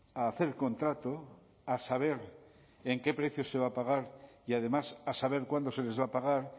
a hacer contrato a saber en qué precio se va a pagar y además a saber cuándo se les va a pagar